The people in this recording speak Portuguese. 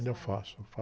Ainda faço,